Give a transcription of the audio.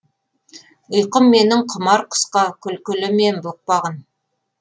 ұйқым менің құмар құсқа күлкілі мен бұқпағын